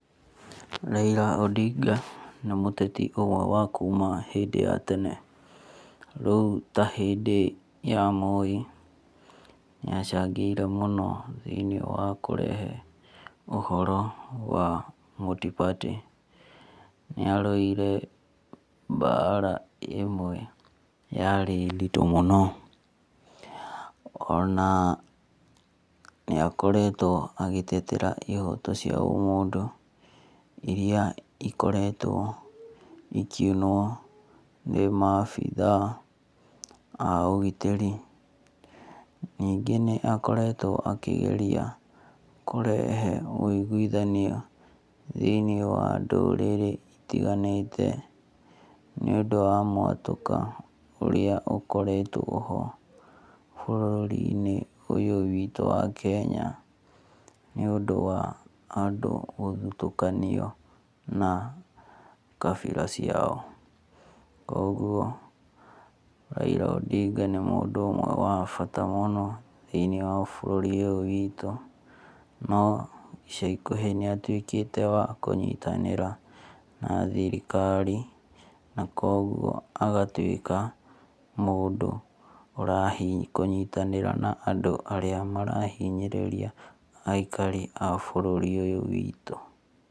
Raila Odinga nĩ mũteti ũmwe wa kuma hĩndĩ ya tene. Rĩu ta hĩndĩ ya Moi ni acangĩire mũno thĩiniĩ wa kũrehe ũhoro wa multiparty Nĩ arũire mbara ĩmwe yarĩ nditũ mũno. Ona nĩ akoretwo agĩtetera ihoto cia ũmũndũ iria ikoretwo ikiunwo ni mabithaa a ũgitĩri. Nyingĩ nĩ akoretwo akĩgeria kũrehe wũiguithanio thĩiniĩ wa ndũrĩrĩ itiganĩte nĩ ũndũ wa mwatũka ũrĩa ũkoretwo ho bũrũri~inĩ Ũyũ witũ wa Kenya nĩ ũndũ wa andũ gũthutũkanio na kabira ciao. Kogwo Raila Odinga nĩ mũndũ ũmwe wa bata mũno thĩinĩ wa bũrũri ũyũ witũ.No ica ikuhi nĩ atuĩkĩte wa kũnyitanĩra na thirikari na kwoguo agatuĩka mũndũ ura kũnyitanĩra na andũ arĩa marahinyĩrĩria aikari a bũrũri ũyũ witu.